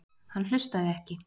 Hann hlustaði ekki.